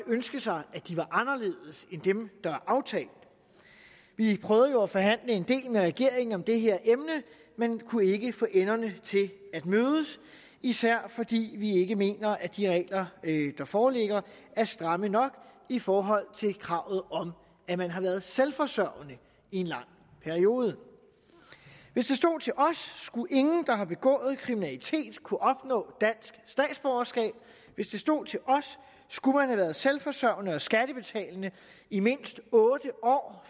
ønske sig at de var anderledes end dem der er aftalt vi prøvede jo at forhandle en del med regeringen om det her emne men kunne ikke få enderne til at mødes især fordi vi ikke mener at de regler der foreligger er stramme nok i forhold til kravet om at man har været selvforsørgende i en lang periode hvis det stod til os skulle ingen der har begået kriminalitet kunne opnå dansk statsborgerskab hvis det stod til os skulle man have været selvforsørgende og skattebetalende i mindst otte år